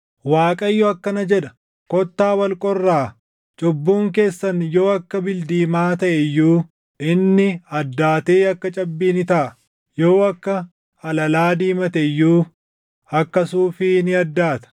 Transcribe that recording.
Waaqayyo akkana jedha; “Kottaa wal qorraa; cubbuun keessan yoo akka bildiimaa taʼe iyyuu, inni addaatee akka cabbii ni taʼa; yoo akka alalaa diimate iyyuu, akka suufii ni addaata.